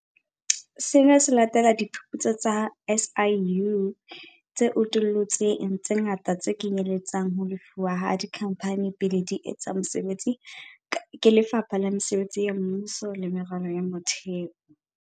Sena se latela diphuputso tsa SIU tse utullutseng tse ngata tse kenyelletsang ho lefuwa ha dikhamphane pele di etsa mosebetsi ke Lefapha la Mesebetsi ya Mmuso le Meralo ya Motheo.